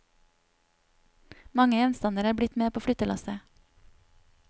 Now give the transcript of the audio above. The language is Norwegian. Mange gjenstander er blitt med på flyttelasset.